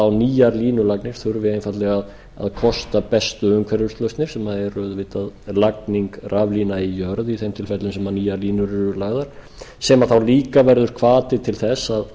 á nýjar línulagnir þurfi einfaldlega að kosta bestu umhverfislausnir sem eru auðvitað lagning raflína í jörð í þeim tilfellum sem nýjar línur eru lagðar sem þá líka verður hvati til þess að